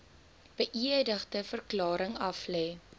beëdigde verklaring aflê